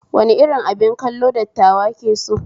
Wani irin abin kallo dattawa ke so?